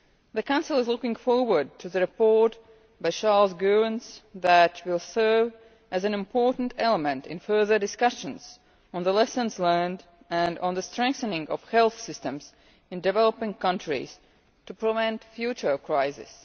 The Council is looking forward to the report by Charles Goerens that will serve as an important element in further discussions on the lessons learned and on the strengthening of health systems in developing countries to prevent future crises.